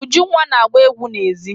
Ujunwa na-agba egwu n'èzí.